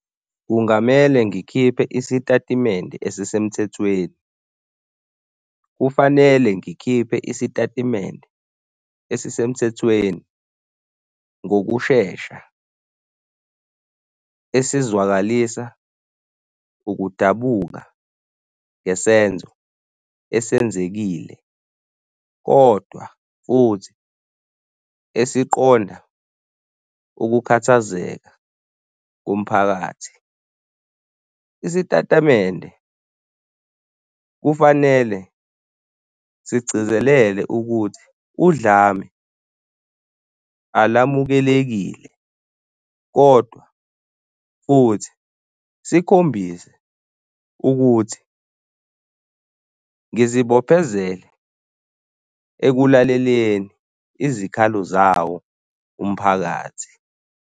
Kungamele ngikhiphe isitatimende esisemthethweni. Kufanele ngikhiphe isitatimende esisemthethweni ngokushesha esizwakalisa ukudabuka ngesenzo esenzekile kodwa futhi esiqonda ukukhathazeka komphakathi. Isitatamende kufanele sigcizelele ukuthi udlame alamukelekile kodwa futhi sikhombise ukuthi ngizibophezele ekulaleleni izikhalo zawo umphakathi.